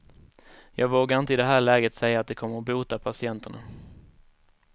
Jag vågar inte i det här läget säga att det kommer att bota patienterna.